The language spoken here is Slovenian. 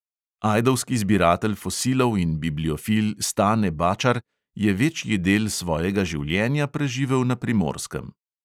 Ajdovski zbiratelj fosilov in bibliofil stane bačar je večji del svojega življenja preživel na primorskem.